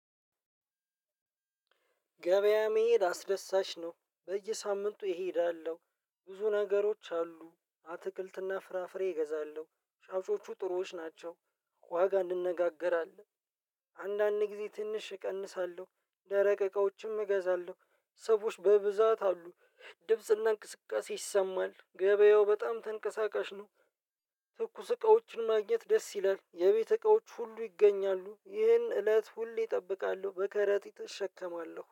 ገበያ መሄድ አስደሳች ነው በየሳምንቱ እሄዳለሁ ብዙ ነገሮች አሉ አትክልት እና ፍራፍሬ እገዛለሁ ሻውጮቹ ጥሮዎች ናቸው። ዋጋ እንነጋገራለን አንዳንድ ጊዜ ትንሽ እቀንሳለሁ፤ ደረቅ እቃዎችም እገዛለሁ ሰዎች በብዛት አሉ ኦድምጽ እና እንቅስቃሴ ይሰማል ገበያው ተንቀሳቃሽ ነው ትኩስ እቃዎችን ማግኘት ደስ ይላል የቤተ እቃዎች ሁሉ ይገኛሉ ይህን እለት ሁሌ እጠብቃለሁ በከረጢ እሸከማለሁ።